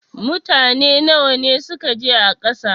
Mutane nawa ne suka je a ƙasa?